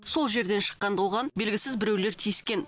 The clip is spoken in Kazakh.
сол жерден шыққанда оған белгісіз біреулер тиіскен